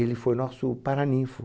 Ele foi nosso paraninfo.